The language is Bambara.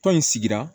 Tɔn in sigira